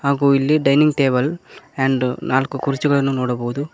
ಹಾಗೂ ಇಲ್ಲಿ dining table and ನಾಲ್ಕು ಕುರ್ಚಿಗಳನ್ನು ನೋಡಬೋದು.